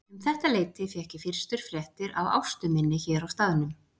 Um þetta leyti fékk ég fyrstu fréttir af Ástu minni hér í staðnum.